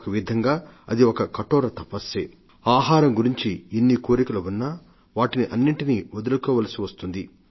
ఒకవిధంగా అది ఒక కఠోర తపస్సే ఆహారం గురించి ఎంత కోరికలు ఉన్నా వాటిని అన్నింటినీ వదులుకోవలసివస్తుంది